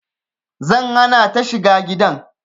Zan hana ta shiga gidan